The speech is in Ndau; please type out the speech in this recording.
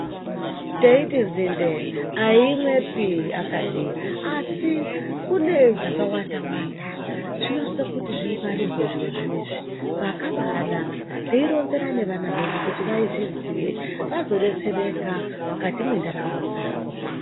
Teyiti dzinde hayi imwepi akadi asi kune dzakawanda dzinosisa kuti dzingwarirwe pakaba naka teronzera nevana vedu kuti vayiziye vazodetsereka mukati mendaramo dzavo.